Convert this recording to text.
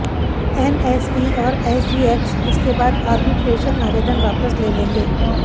NSE और SGX इसके अलावा आर्बिट्रेशन आवेदन वापस ले लेंगे